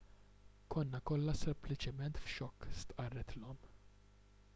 konna kollha sempliċement f'xokk stqarret l-omm